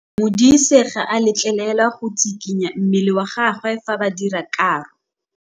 Modise ga a letlelelwa go tshikinya mmele wa gagwe fa ba dira karô.